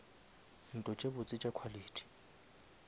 ntlo tše botse tša quality